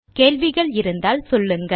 கேள்விகள் இருந்தால் சொல்லுங்கள்